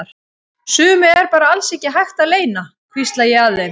Sumu er bara alls ekki hægt að leyna, hvísla ég að þeim.